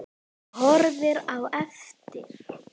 Horfir á eftir